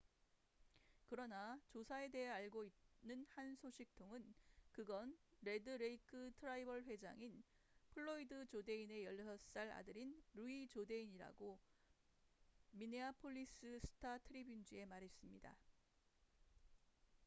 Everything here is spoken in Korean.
그러나 조사에 대해 알고 있는 한 소식통은 그건 레드 레이크 트라이벌 회장인 플로이드 조데인의 16살 아들인 루이 조데인이라고 미네아폴리스 스타-트리뷴지에 말했습니다